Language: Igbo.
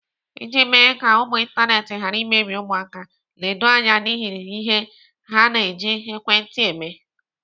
Iji mee ka ụmụ ịntanetị ghara imebi ụmụaka, ledo anya n'ihe ha na-eji ekwentị eme.